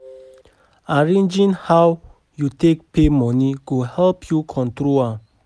Arranging how yu take pay moni go help yu control am